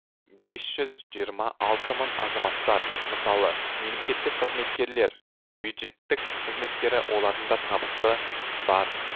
бес жүз жиырма алты мың азаматтар мысалы мемлекеттік қызметкерлер бюджеттік қызметкері олардың да табысы бар